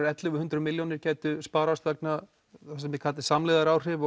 ellefu hundruð milljónir geta sparast vegna þess sem þið kallið samlegðaráhrif